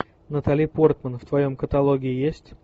натали портман в твоем каталоге есть